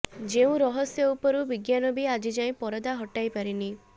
ଯେଉଁ ରହସ୍ୟ ଉପରୁ ବିଜ୍ଞାନ ବି ଆଜିଯାଏଁ ପରଦା ହଟାଇ ପାରିନି